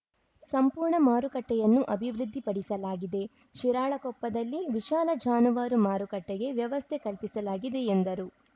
ಸಂಪೂರ್ಣ ಮಾರುಕಟ್ಟೆಯನ್ನು ಅಭಿವೃದ್ಧಿಪಡಿಸಲಾಗಿದೆ ಶಿರಾಳಕೊಪ್ಪದಲ್ಲಿ ವಿಶಾಲ ಜಾನುವಾರು ಮಾರುಕಟ್ಟೆಗೆ ವ್ಯವಸ್ಥೆ ಕಲ್ಪಿಸಲಾಗಿದೆ ಎಂದರು